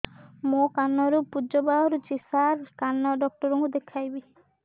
ମୋ କାନରୁ ପୁଜ ବାହାରୁଛି ସାର କାନ ଡକ୍ଟର କୁ ଦେଖାଇବି